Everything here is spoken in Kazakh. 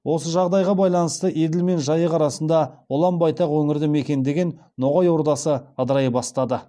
осы жағдайға байланысты еділ мен жайық арасында ұлан байтақ өңірді мекендеген ноғай ордасы ыдырай бастады